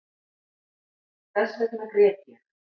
Þessvegna grét ég